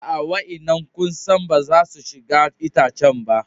Aa, wa'inan kusan ba za su shiga itacen ba.